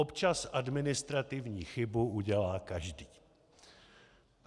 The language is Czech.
Občas administrativní chybu udělá každý.